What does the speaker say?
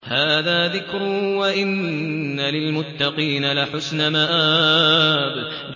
هَٰذَا ذِكْرٌ ۚ وَإِنَّ لِلْمُتَّقِينَ لَحُسْنَ مَآبٍ